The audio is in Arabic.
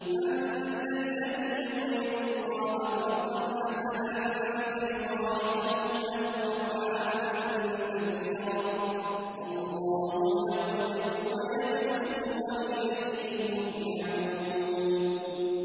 مَّن ذَا الَّذِي يُقْرِضُ اللَّهَ قَرْضًا حَسَنًا فَيُضَاعِفَهُ لَهُ أَضْعَافًا كَثِيرَةً ۚ وَاللَّهُ يَقْبِضُ وَيَبْسُطُ وَإِلَيْهِ تُرْجَعُونَ